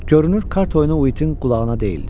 Görünür kart oyunu Uitin qulağına deyildi.